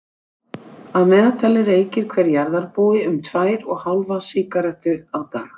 Að meðaltali reykir hver jarðarbúi um tvær og hálfa sígarettu á dag.